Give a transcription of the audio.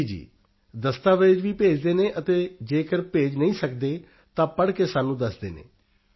ਜੀ ਜੀ ਦਸਤਾਵੇਜ਼ ਵੀ ਭੇਜਦੇ ਹਨ ਅਤੇ ਜੇਕਰ ਭੇਜ ਨਹੀਂ ਸਕਦੇ ਤਾਂ ਪੜ੍ਹ ਕੇ ਸਾਨੂੰ ਦੱਸਦੇ ਹਨ